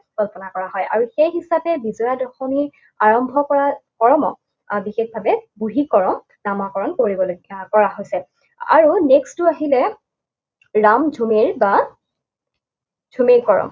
কল্পনা কৰা হয়। আৰু সেই হিচাপে বিজয়া দশমী আৰম্ভ কৰাৰ কৰ্ম আৰু বিশেষভাৱে বুঢ়ী কৰম নামাকৰণ কৰিবলৈ কৰা হৈছে। আৰু next টো আহিলে, ৰাম ঝুমেৰ বা ঝুমে কৰম।